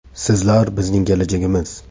Sizlar bizning kelajagimiz.